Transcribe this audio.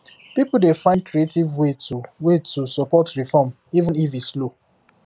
people dey find creative way to way to support reform even if e slow